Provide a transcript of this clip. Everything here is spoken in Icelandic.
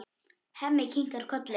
Hemmi kinkar kolli.